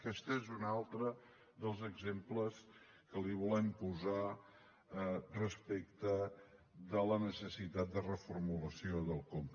aquest és un altre dels exemples que li volem posar respecte de la necessitat de reformulació del conca